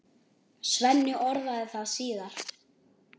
Svenni orðaði það síðar.